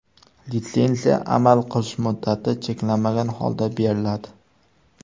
Litsenziya amal qilish muddati cheklanmagan holda beriladi.